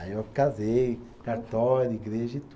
Aí eu casei, cartório, igreja e tu